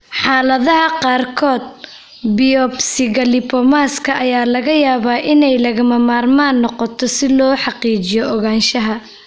Xaaladaha qaarkood, biopsiga lipomas-ka ayaa laga yaabaa inay lagama maarmaan noqoto si loo xaqiijiyo ogaanshaha.